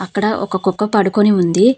అక్కడ ఒక కుక్క పడుకొని ఉంది.